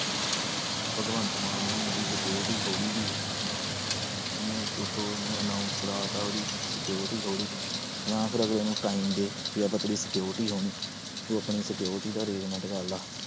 ਭਗਵੰਤ ਮਾਨ ਨੇ ਵੀ ਉਹਦੀ security ਖੋਹ ਲਈ ਸੀ ਉਹਨੇ ਉੱਤੋਂ ਉਹਨੂੰ announce ਕਰਵਾ ਦਿੱਤਾ ਉਹਦੀ security ਖੋਹ ਲਈ ਜਾਂ ਫਿਰ ਅਗਲੇ ਨੂੰ time ਦੇ ਵੀ ਆਪਾਂ ਤੇਰੀ security ਖੋਹਣੀ, ਤੂੰ ਆਪਣੀ security ਦਾ arrangement ਕਰ ਲਾ।